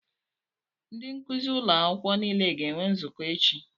Ndị nkuzi ụlọ akwụkwọ niile ga-enwe nzukọ echi.